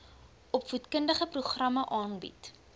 opvoedkundige programme aanbied